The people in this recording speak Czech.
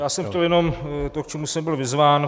Já jsem chtěl jenom to, k čemu jsem byl vyzván.